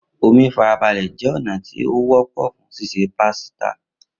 Omi farabale jẹ ọna ti o wọpọ fun ṣiṣe pasita.